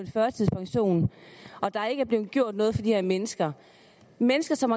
førtidspension og at der ikke er blevet gjort noget for de her mennesker mennesker som